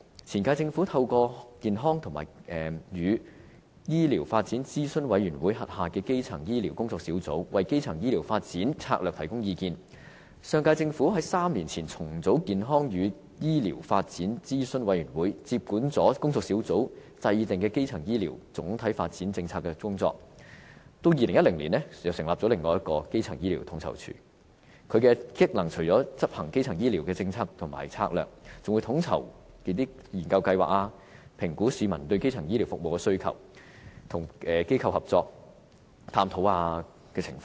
前屆政府透過健康與醫療發展諮詢委員會轄下的基層醫療工作小組為基層醫療發展策略提供意見，上屆政府在3年前重組健康與醫療發展諮詢委員會，接管工作小組制訂的基層醫療總體發展政策的工作，並在2010年成立另一個基層醫療統籌處，職能除了執行基層醫療的政策和策略，還會統籌研究計劃，評估市民對基層醫療服務的需求，並與機構合作探討情況。